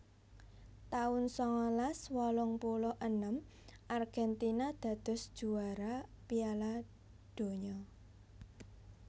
taun sangalas wolung puluh enem Argentina dados juwara Piala Donya